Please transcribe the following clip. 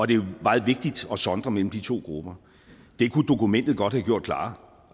det er meget vigtigt at sondre mellem de to grupper det kunne dokumentet godt have gjort klarere